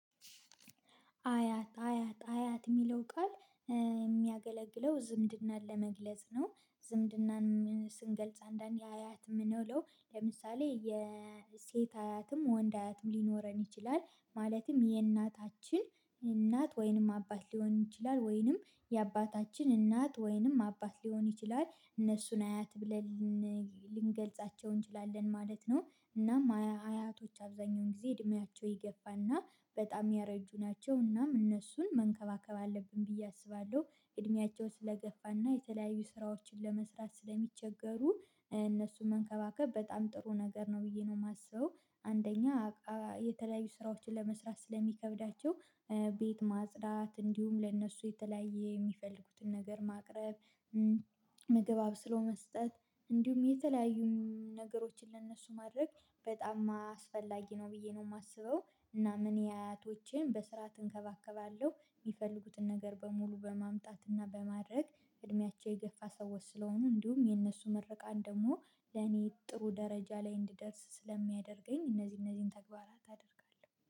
አያት አያት አያት የሚለው ቃል የሚያገለግለው ዝምድናን ለመግለጽ ነ፤ ዝምድናን ስንገልጽ አንዳንዴ አያት የምንውለው ለምሳሌ የሴት አያትም ወንድ አያትም ሊኖረን ይችላል ማለትም የእናታችን እናት ወይንም አባት ሊሆን ይችላል ወይንም የአባታችን እናት ወይንም አባት ሊሆን ይችላል እነሱን አያት ብለን ልንገልጻቸው እንችላለን ማለት ነው፤ እናም አያቶች አብዛኛውን ጊዜ እድሜያቸው የገፋና በጣም ያረጁ ናቸው እናም እነሱን መንከባከብ አለብን ብዬ አስባለሁ እድሜያቸውን ስለገፋና የተለያዩ ስራዎችን ለመስራት ስለሚቸገሩ እነሱን መንከባከብ በጣም ጥሩ ነገር ነው ብዬ ነው የማስበው አንደኛ የተለያዩ ስራዎችን ለመስራት ስለሚከብዳቸው ቤት ማጽዳት እንዲሁም ለእነሱ የተለያየ የሚፈልጉትን ነገር ማቅረብ ምግብ አብስሎ መስጠት እንዲሁም የተለያዩ ነገሮችን ለእነሱ ማድረግ በጣም አስፈላጊ ነው ብዬ ነው የማስበው እና እኔ አያቶቼን በስርዓት እንከባከባለሁ የሚፈልጉትን ነገር በሙሉ በማምጣትና በማድረግ እድሜያቸው የገፋ ሰዎች ስለሆኑ እንዲሁም የነሱ ምረቃን ደግሞ ለኔ ጥሩ ደረጃ ላይ እንድደርስ ስለሚያደርገኝ እነዚህ እነዚህን ተግባራት አደርጋለሁ።